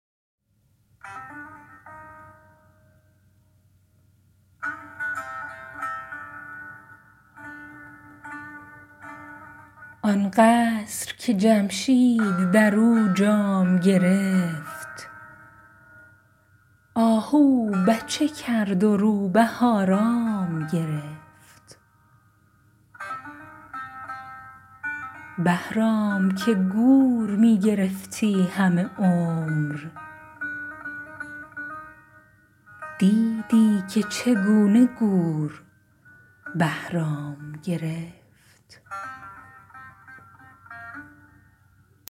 آن قصر که جمشید در او جام گرفت آهو بچه کرد و روبه آرام گرفت بهرام که گور می گرفتی همه عمر دیدی که چگونه گور بهرام گرفت